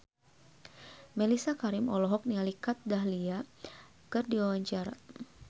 Mellisa Karim olohok ningali Kat Dahlia keur diwawancara